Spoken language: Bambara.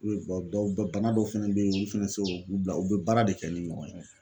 dɔw bana dɔw fɛnɛ bɛ ye olu fana tɛ se u bila u bɛ baara de kɛ ni ɲɔgɔn ye.